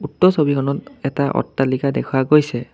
উক্ত ছবিখনত এটা অট্টালিকা দেখুওৱা গৈছে।